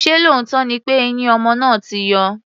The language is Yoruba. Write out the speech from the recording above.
Ṣé lóòótọ́ ni pé eyín ọmọ náà ti yọ?